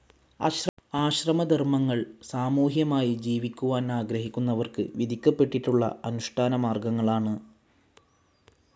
ആശ്രമധർമ്മങ്ങൾ സാമൂഹ്യമായി ജീവിക്കുവാൻ ആഗ്രഹിക്കുന്നവർക്ക് വിധിക്കപ്പെട്ടിട്ടുള്ള അനുഷ്ടാനമാർഗങ്ങളാണ്.